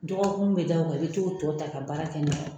Dɔgɔkun be da u kan ? i be t'o tɔ ta ka baara kɛ n'a ye.